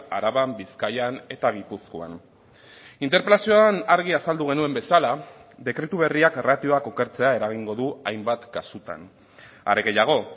araban bizkaian eta gipuzkoan interpelazioan argi azaldu genuen bezala dekretu berriak ratioak okertzea eragingo du hainbat kasutan are gehiago